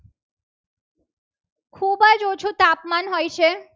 ઓછું તાપમાન હોય છે.